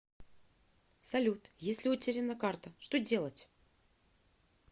салют если утеряна карта что делать